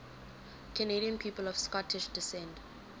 canadian people of scottish descent